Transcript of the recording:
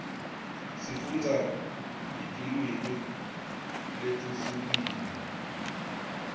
sifundza netilwimi letihlukile telive